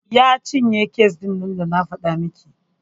Ya cinye kes ɗin nan da na faɗa miki.